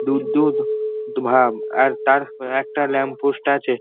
দুধ দুধ-ধ দ ভাব আর তার উ একটা ল্যাম্প পোস্ট আছে।